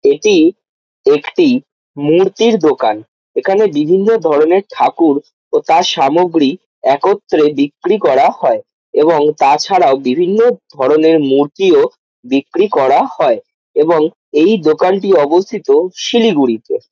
এটি একটি মূর্তির দোকান এখানে বিভিন্ন ধরনের ঠাকুর ও তার সামগ্রী একত্রে বিক্রি করা হয় এবং তাছাড়াও বিভিন্ন ধরনের মূর্তিও বিক্রি করা হয় এবং এই দোকানটি অবস্থিত শিলিগুড়িতে।